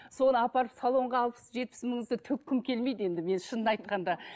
соны апарып салонға алпыс жетпіс мыңымызды төккім келмейді енді мен шынын айтқанда